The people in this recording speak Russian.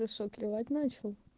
ты что клевать начал